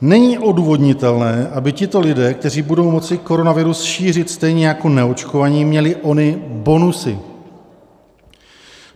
Není odůvodnitelné, aby tito lidé, kteří budou moci koronavirus šířit stejně jako neočkovaní, měli ony bonusy.